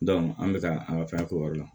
an bɛ ka an ka fɛn k'o yɔrɔ la